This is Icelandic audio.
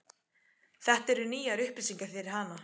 Þetta eru nýjar upplýsingar fyrir hana.